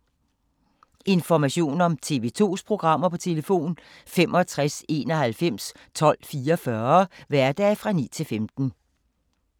Information om TV 2's programmer: 65 91 12 44, hverdage 9-15.